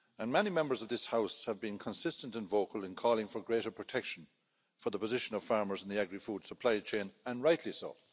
Many Members of this House have been consistent and vocal in calling for greater protection for the position of farmers in the agri food supply chain and rightly so.